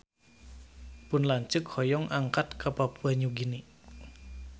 Pun lanceuk hoyong angkat ka Papua Nugini